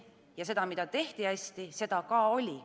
Ja seda, mida hästi tehti, seda ka oli.